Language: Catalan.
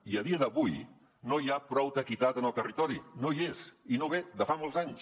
i a dia d’avui no hi ha prou equitat en el territori no hi és i ve de fa molts anys